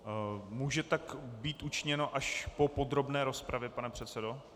Může tak být učiněno až po podrobné rozpravě, pane předsedo?